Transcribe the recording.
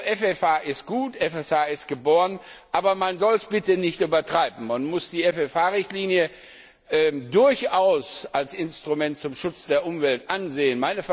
FFH ist gut, FFH ist geboren, aber man soll es bitte nicht übertreiben! Man muss die FFH Richtlinie durchaus als Instrument zum Schutz der Umwelt ansehen.